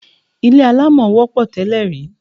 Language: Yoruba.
Ilé alámọ̀ wọ́pọ̀ tẹ́lè rí.